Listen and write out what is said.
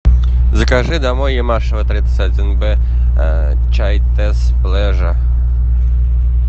закажи домой ямашева тридцать один б чай тесс плежа